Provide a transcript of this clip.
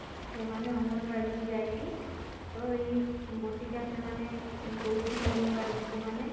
ସେମାନେ ଅଙ୍ଗନବାଡି କି ଯାଇକି ତ ଏଇ ବଟିକା ସେମାନେ ଦଉଛନ୍ତି ଅଙ୍ଗନବାଡି ଦିଦି ମାନେ